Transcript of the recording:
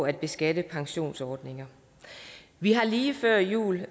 at beskatte pensionsordninger vi har lige før jul